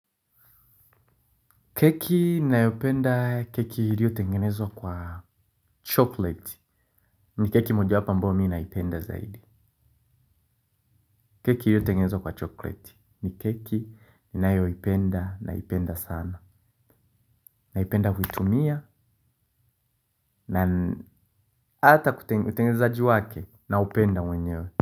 Keki nayopenda keki ilio tengenezwa kwa chocolate ni keki moja wapo ambao mi naipenda zaidi. Keki iliyo tengenezwa kwa chocolate ni keki ninayopenda naipenda sana. Naipenda huitumia na hata kutengeneza utengenezaji wake naupenda mwenyewe.